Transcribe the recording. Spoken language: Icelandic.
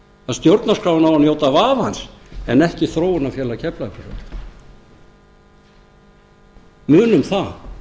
að stjórnarskráin á að njóta vafans en ekki þróunarfélag keflavíkurflugvallar munum það